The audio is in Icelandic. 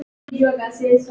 Öskraði það aftur og aftur.